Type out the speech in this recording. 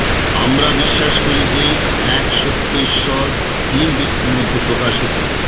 আমরা বিশ্বাস করি যে এক সত্য ঈশ্বর তিন ব্যক্তির মধ্যে প্রকাশিত